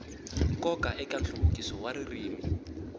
nkoka eka nhluvukiso wa ririmi